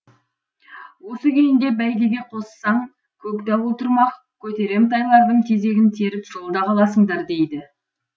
осы күйінде бәйгеге қоссаң көкдауыл тұрмақ көтерем тайлардың тезегін теріп жолда қаласыңдар дейді